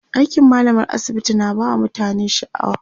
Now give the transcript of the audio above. aikin mallamar asibiti na ba mutane shaaw